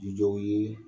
Jijɔ ye